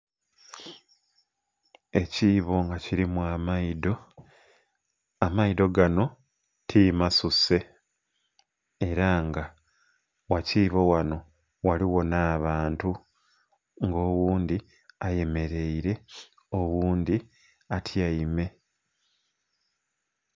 Ekiibo mga kirimu amaidho, amaidho ganho ti masuse era nga gha kiibo ghanho ghaligho nha'bantu nga oghundhi ayemereire oghundhi atyaime.